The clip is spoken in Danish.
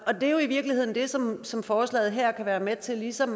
er jo i virkeligheden det som som forslaget her kan være med til ligesom